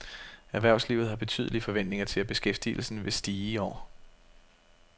Erhvervslivet har betydelige forventninger til, at beskæftigelsen vil stige i år.